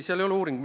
See ei ole uuring.